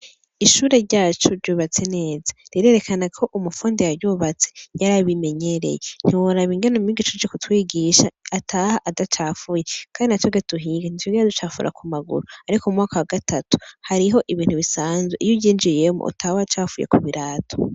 Ishure ryacu ryubatse neza rirerekanako umufundi yaryubatse yarabimenyereye ntiworaba ingene umwigisha aje kutwigisha ataha adacafuye, Kandi natwebwe tuhirigwa ntitwigera ducafura kumaguru ariko uyu mwaka wagatatu hariho ibintu bisanzwe iyo uryinjiyemo utaha wacafuye kubirato.